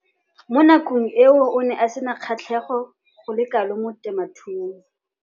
Mo nakong eo o ne a sena kgatlhego go le kalo mo temothuong.